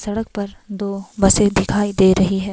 सड़क पर दो बसे दिखाई दे रही है।